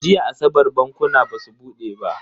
Jiya asabar bankuna basu bude ba.